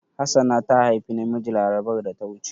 Hassana ta haifi namiji larabar da ta wuce.